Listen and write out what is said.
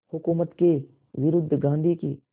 हुकूमत के विरुद्ध गांधी की